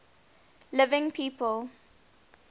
living people